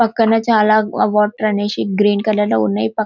పక్కన చానా వాటర్ అనేశి గ్రీన్ కలర్ లో ఉన్నాయి --